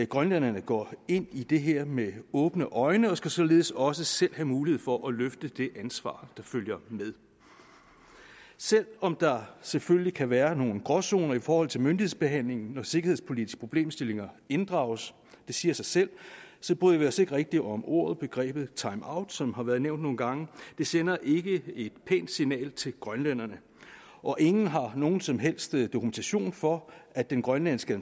grønlænderne går ind i det her med åbne øjne og skal således også selv have mulighed for at løfte det ansvar der følger med selv om der selvfølgelig kan være nogle gråzoner i forhold til myndighedsbehandlingen når sikkerhedspolitiske problemstillinger inddrages det siger sig selv bryder vi os ikke rigtig om ordet eller begrebet timeout som har været nævnt nogle gange det sender ikke et pænt signal til grønlænderne og ingen har nogen som helst dokumentation for at den grønlandske